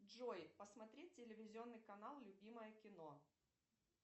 джой посмотреть телевизионный канал любимое кино